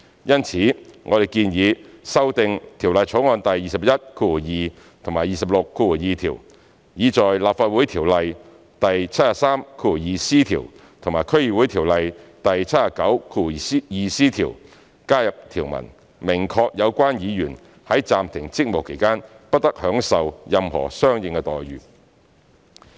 因此，我們建議修訂《條例草案》第212及262條，以在《立法會條例》第73條及《區議會條例》第79條加入條文，明確有關議員在暫停職務期間"不得享受任何相應待遇"。